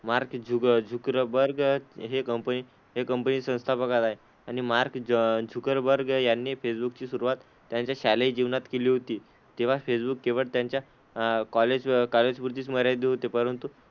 Mark Zucker Zuckerberg हे company हे company संस्थापक आहेत. आणि मार्क झ झुकरबर्ग यांनी फेसबुक ची सुरुवात त्यांच्या शालेय जीवनात केली होती, तेव्हा फेसबुक केवळ त्यांच्या अह कॉलेज कॉलेज पुरतीच मर्यादित होते, परंतु,